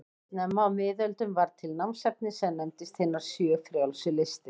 Snemma á miðöldum varð til námsefni sem nefndist hinar sjö frjálsu listir.